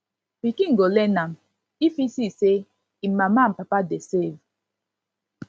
pikin go learn am if e see say en mama and papa dey save